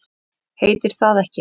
Heitir það ekki